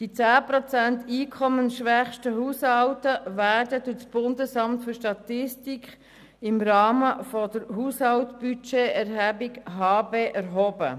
Die 10 Prozent einkommensschwächsten Haushalte werden durch das BFS im Rahmen der Haushaltbudgeterhebung (HABE) erhoben.